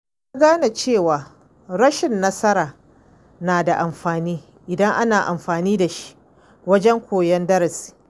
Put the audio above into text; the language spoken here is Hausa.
Na gane cewa rashin nasara na da amfani idan ana amfani da shi wajen koyon darasi.